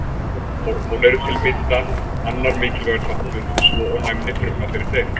Hormón eru til að mynda annar mikilvægur þáttur svo og næmni frumna fyrir þeim.